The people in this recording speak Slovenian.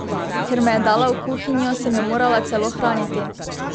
Ker me je dala v kuhinjo, sem jo morala celo hraniti!